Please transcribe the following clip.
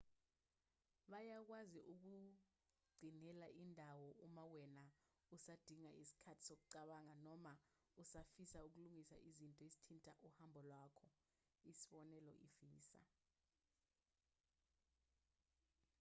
bayakwazi ukukugcinela indawo uma wena usadinga isikhathi sokucabanga noma usafisa ukulungisa izinto ezithinta uhambo lwakho isibonelo i-visa